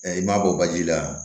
I m'a bɔ baji la